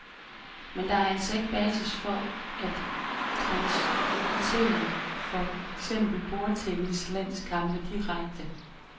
Men der er altså ikke basis for at transmittere for eksempel bordtennislandskampe direkte.